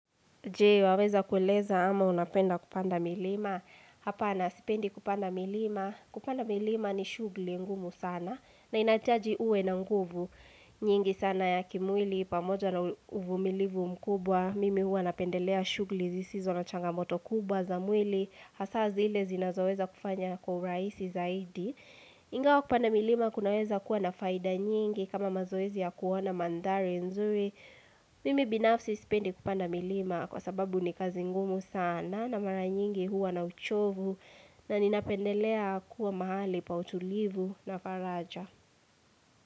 Je, waweza kueleza ama unapenda kupanda milima. Hapana, sipendi kupanda milima. Kupanda milima ni shugli ngumu sana. Na inataji uwe na nguvu nyingi sana ya kimwili. Pamoja na uvu milivu mkubwa. Mimi hua napendelea shugli zisizo na changamoto kubwa za mwili. Hasazi ile zinazoweza kufanya kwa uraisi zaidi. Ingawa kupanda milima kunaweza kuwa na faida nyingi. Kama mazoezi ya kuona mandhari nzuri. Mimi binafsi sipendi kupanda milima. Kwa sababu ni kazi ngumu sana na mara nyingi huwa na uchovu na ninapendelea kuwa mahali pa utulivu na faraja.